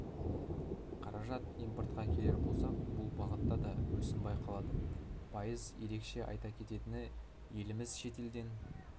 қаражат импортқа келер болсақ бұл бағытта да өсім байқалады пайыз ерекше айта кететіні еліміз шетелден